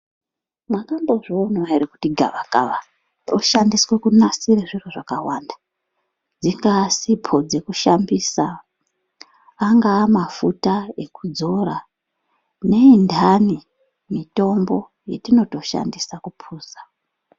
Makambozvionavo ere kuti gavakava roshandiswe kunasire zviro zvakawanda. Dzingaa sipo dzekushambisa angaa mafuta ekudzora, neindani mitombo yatinotoshandisa kupuza.